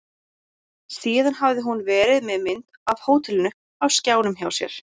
Síðan hafði hún verið með mynd af hótelinu á skjánum hjá sér.